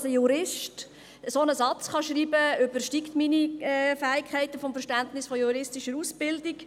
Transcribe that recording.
Dass ein Jurist einen solchen Satz schreiben kann, übersteigt meine Fähigkeiten des Verständnisses einer juristischen Ausbildung.